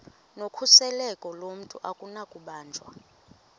nokhuseleko lomntu akunakubanjwa